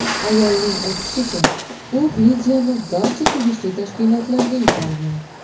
Ayolning aytishicha, u videoni barcha tegishli tashkilotlarga yuborgan.